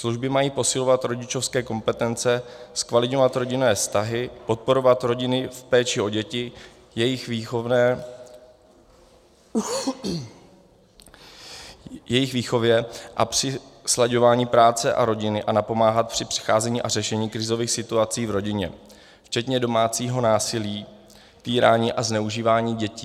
Služby mají posilovat rodičovské kompetence, zkvalitňovat rodinné vztahy, podporovat rodiny v péči o děti, jejich výchově a při slaďování práce a rodiny a napomáhat při přicházení a řešení krizových situací v rodině, včetně domácího násilí, týrání a zneužívání dětí.